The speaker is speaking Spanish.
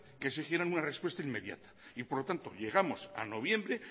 que exigieran una respuesta inmediata y por lo tanto llegamos a noviembre